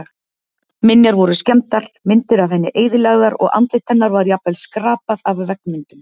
Minjar voru skemmdar, myndir af henni eyðilagðar og andlit hennar var jafnvel skrapað af veggmyndum.